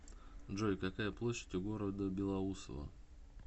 джой какая площадь у города белоусово